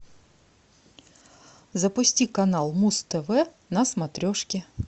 запусти канал муз тв на смотрешке